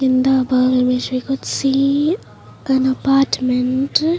In the above image we could see an apartment.